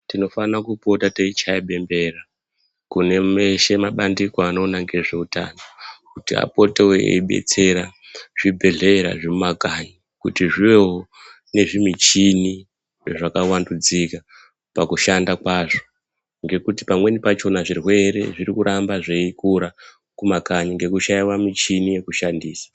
Tinofanira kupota tichichaya bembera kune meshe mumabandiko anoona ngezveutano kuti apotewo eibetsera zvibhedhlera zvemumakanyi kuti zvivewo nezvimichini zvakavandudzika pakushanda kwazvo ngekuti pamweni pakona zvirwere zviri kuramba zveikura mumakanyi ngekushaiwa michini yekushandisa.